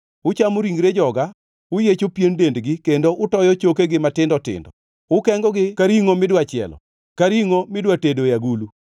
Uchamo ringre joga, uyiecho pien dendgi, kendo utoyo chokegi matindo tindo. Ukengogi ka ringʼo midwa chielo, ka ringʼo midwa tedo e agulu?”